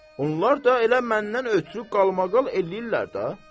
Onlar da elə məndən ötrü qalmaqal eləyirlər də.